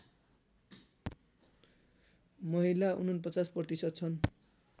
महिला ४९ प्रतिशत छन्